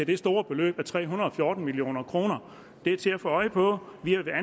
det store beløb på tre hundrede og fjorten million kroner det er til at få øje på vi er